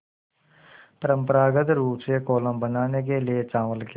परम्परागत रूप से कोलम बनाने के लिए चावल के